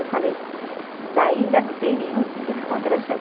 Eu falei, ainda não tem nenhum tipo de contração.